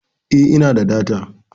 Eh, ina da data.